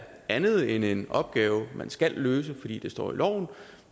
andet end en opgave man skal løse fordi det står i loven